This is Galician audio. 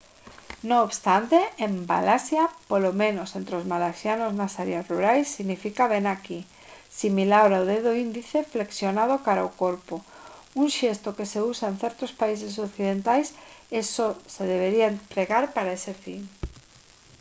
non obstante en malaisia polo menos entre os malaisianos nas áreas rurais significa «vén aquí» similar ao dedo índice flexionado cara ao corpo un xesto que se usa en certos países occidentais e só se debería empregar para ese fin